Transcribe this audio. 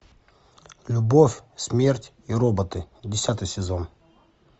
любовь смерть и роботы десятый сезон